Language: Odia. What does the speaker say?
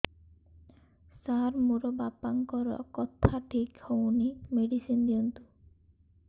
ସାର ମୋର ବାପାଙ୍କର କଥା ଠିକ ହଉନି ମେଡିସିନ ଦିଅନ୍ତୁ